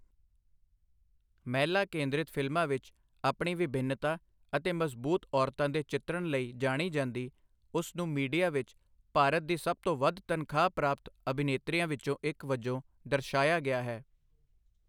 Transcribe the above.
ਮਹਿਲਾ ਕੇਂਦਰਿਤ ਫ਼ਿਲਮਾਂ ਵਿੱਚ ਆਪਣੀ ਵਿਭਿੰਨਤਾ ਅਤੇ ਮਜ਼ਬੂਤ ਔਰਤਾਂ ਦੇ ਚਿੱਤਰਣ ਲਈ ਜਾਣੀ ਜਾਂਦੀ, ਉਸ ਨੂੰ ਮੀਡੀਆ ਵਿੱਚ ਭਾਰਤ ਦੀ ਸਭ ਤੋਂ ਵੱਧ ਤਨਖ਼ਾਹ ਪ੍ਰਾਪਤ ਅਭਿਨੇਤਰੀਆਂ ਵਿੱਚੋਂ ਇੱਕ ਵਜੋਂ ਦਰਸਾਇਆ ਗਿਆ ਹੈ।